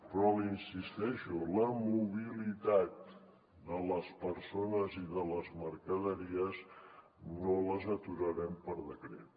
però hi insisteixo la mobilitat de les persones i de les mercaderies no l’aturarem per decret